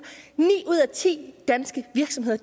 ni ud af ti danske virksomheder